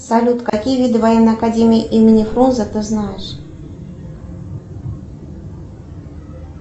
салют какие виды военной академии имени фрунзе ты знаешь